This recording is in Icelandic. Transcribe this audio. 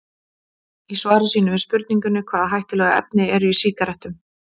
Í svari sínu við spurningunni Hvaða hættulegu efni eru í sígarettum?